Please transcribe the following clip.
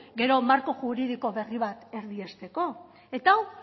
gero marko juridiko berri bat erdiesteko eta hau